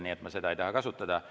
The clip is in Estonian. Nii et ma ei taha seda kasutada.